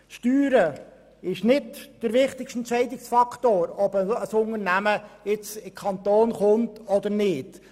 Steuern sind nicht der wichtigste Entscheidungsfaktor, ob ein Unternehmen in unseren Kanton kommt oder nicht.